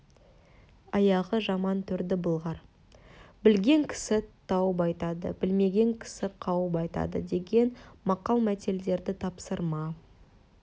аяғы жаман төрді былғар білген кісі тауып айтады білмеген кісі қауып айтады деген мақал-мәтелдерді тапсырма